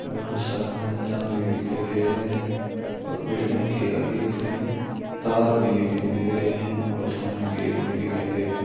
और साथ में चांद भी दिखाई दे रहा है और बिल्डिंग के आगे कई तार भी दिखाई दे रहे हैं और सामने गेट भी दिखाई दे रहा है।